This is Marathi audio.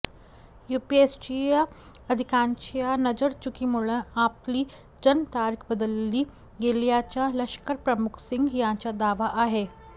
युपीएससीच्या अधिकाऱ्यांच्या नजरचुकीमुळं आपली जन्मतारीख बदलली गेल्याचा लष्करप्रमुख सिंग यांचा दावा आहे